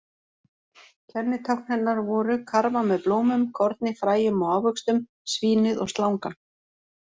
Kennitákn hennar voru: karfa með blómum, korni, fræjum og ávöxtum, svínið og slangan.